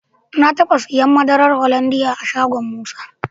Na taba siyan madarar Hollandia a shagon Musa.